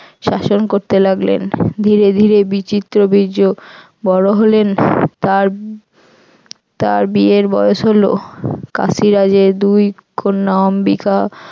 শাসন করতে লাগলেন ধীরে ধীরে বিচিত্রবীর্য বড় হলেন তার তার বিয়ের বয়স হল কাশ্মীরাজের দুই কন্যা অম্বিকা